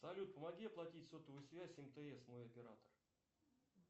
салют помоги оплатить сотовую связь мтс мой оператор